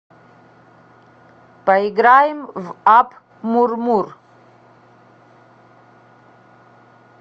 поиграем в апп мур мур